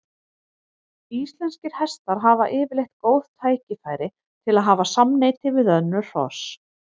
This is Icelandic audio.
Íslenskir hestar hafa yfirleitt góð tækifæri til að hafa samneyti við önnur hross.